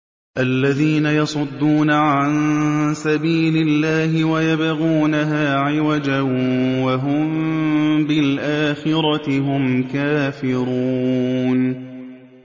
الَّذِينَ يَصُدُّونَ عَن سَبِيلِ اللَّهِ وَيَبْغُونَهَا عِوَجًا وَهُم بِالْآخِرَةِ هُمْ كَافِرُونَ